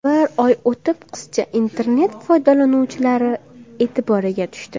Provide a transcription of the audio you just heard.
Bir oy o‘tib qizcha internet foydalanuvchilari e’tiboriga tushdi.